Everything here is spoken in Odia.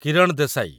କିରଣ ଦେଶାଇ